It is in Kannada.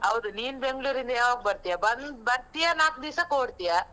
ಹೌದು, ನೀನ್ ಬೆಂಗ್ಳೂರಿಂದ ಯಾವಾಗ್ ಬರ್ತೀಯಾ? ಬಂದ್, ಬರ್ತೀಯಾ ನಾಕು ದೀವ್ಸಕ್ ಓಡ್ತೀಯಾ?